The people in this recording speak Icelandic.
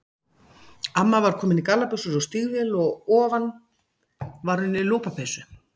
Amma var komin í gallabuxur og stígvél og að ofan var hún í lopapeysu.